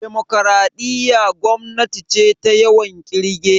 Demokaraɗiya gwamnati ce ta yawan kirge